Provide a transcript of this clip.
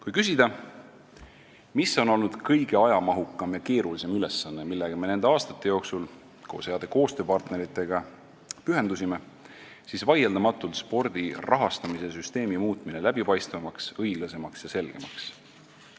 Kui küsida, mis on olnud kõige ajamahukam ja keerulisem ülesanne, millele me nende aastate jooksul koos heade koostööpartneritega pühendusime, siis vaieldamatult on see spordi rahastamise süsteemi muutmine läbipaistvamaks, õiglasemaks ja selgemaks.